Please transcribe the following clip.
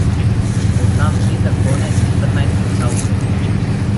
Poznam tri zakone in štirinajst pristavkov.